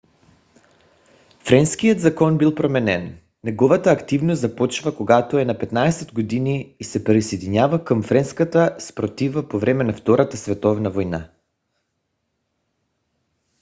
френският закон бил променен. неговата активност започва когато е на 15 години и се присъединява към френската съпротива по време на втората световна война